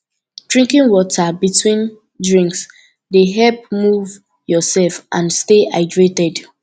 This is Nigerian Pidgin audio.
drinking water between drinks dey help move yourself and stay hydrated